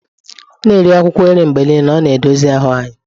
Na-eri akwụkwọ nri mgbe niile, ọ na-dozi ahụ anyị.